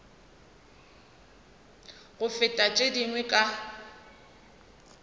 go feta tše dingwe ka